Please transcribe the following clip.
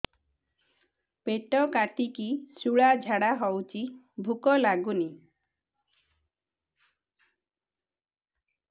ପେଟ କାଟିକି ଶୂଳା ଝାଡ଼ା ହଉଚି ଭୁକ ଲାଗୁନି